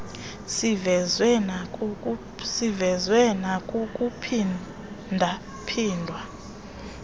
sivezwe nakukuphinda phindwa